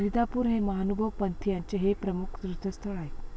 रीधापूर हे महानुभव पंथीयांचे हे प्रमुख तीर्थस्थळ आहे.